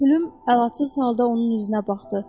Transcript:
Pülüm əlacısız halda onun üzünə baxdı.